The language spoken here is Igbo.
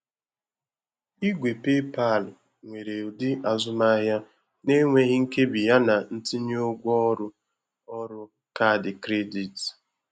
igwe PayPal nwere udi azụmahịa n'enweghị nkebi yana ntinye ụgwọ ọrụ ọrụ kaadị kredit.